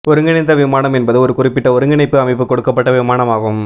ஒருங்கிணைந்த விமானம் என்பது ஒரு குறிப்பிட்ட ஒருங்கிணைப்பு அமைப்பு கொடுக்கப்பட்ட விமானம் ஆகும்